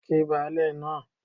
Kí baálẹ̀ náà